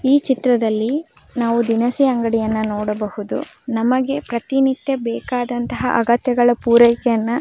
ಈ ಚಿತ್ರದಲ್ಲಿ ನಾವು ದಿನಸಿ ಅಂಗಡಿಯನ್ನು ನೋಡಬಹುದು ನಮಗೆ ಪ್ರತಿನಿತ್ಯ ಬೇಕಾದನಂತಹ ಅಗತ್ಯವನ್ನು ಪೂರೈಕೆಯನ್ನ --